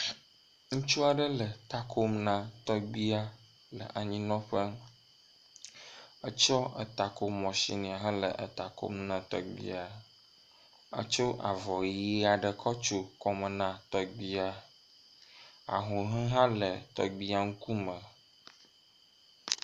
Ŋutsu aɖe le ta kom na tɔgbuia le anyinɔƒe. Etsɔ eta ko masinia hele eta kom na tɔgbuia. Etso avɔ ʋi aɖe kɔ tso kɔme na tɔgbuia. Ahuhɔe hã le tɔgbuia ŋku me.